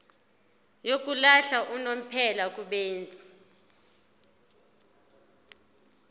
yokuhlala unomphela kubenzi